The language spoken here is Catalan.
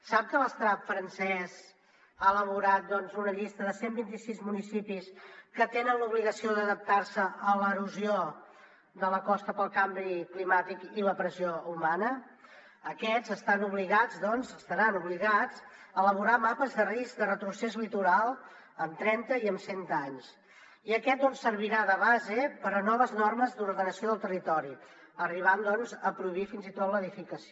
sap que l’estat francès ha elaborat una llista de cent i vint sis municipis que tenen l’obligació d’adaptar se a l’erosió de la costa pel canvi climàtic i la pressió humana aquests estaran obligats a elaborar mapes de risc de retrocés litoral en trenta i en cent anys i aquests serviran de base per a noves normes d’ordenació del territori arribant a prohibir fins i tot l’edificació